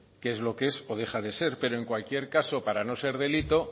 qué es lo que es o deja de ser pero en cualquier caso para no ser delito